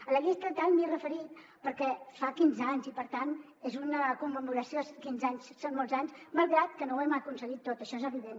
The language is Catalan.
a la llei estatal m’hi he referit perquè fa quinze anys i per tant és una commemoració quinze anys són molts anys malgrat que no ho hem aconseguit tot això és evident